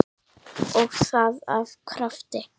Og það af krafti.